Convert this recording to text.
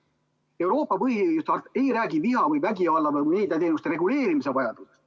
Euroopa põhiõiguste harta ei räägi viha või vägivalla või meediateenuste reguleerimise vajadusest.